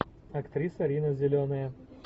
актриса рина зеленая